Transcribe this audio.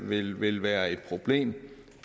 vil vil være et problem